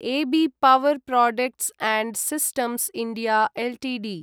अबि power products and systems India Ltd